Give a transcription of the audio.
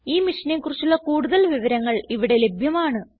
ഈ മിഷനെ കുറിച്ചുള്ള കുടുതൽ വിവരങ്ങൾ ഇവിടെ ലഭ്യമാണ്